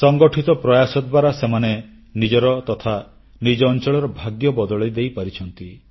ସଂଗଠିତ ପ୍ରୟାସ ଦ୍ୱାରା ସେମାନେ ନିଜର ତଥା ନିଜ ଅଂଚଳର ଭାଗ୍ୟ ବଦଳେଇ ଦେଇପାରିଛନ୍ତି